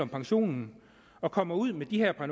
pensionen og kommer ud med de her par